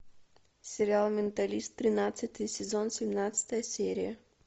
сериал менталист тринадцатый сезон семнадцатая серия